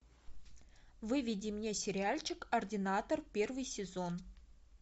выведи мне сериальчик ординатор первый сезон